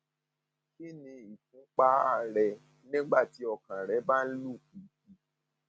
kí ni ìfúnpá ir rẹ nígbà tí ọkàn rẹ bá ń lù pìpì